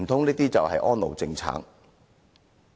難道這就是安老政策？